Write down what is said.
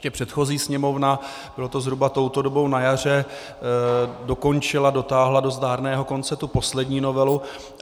Ještě předchozí Sněmovna, bylo to zhruba touto dobou na jaře, dokončila, dotáhla do zdárného konce tu poslední novelu.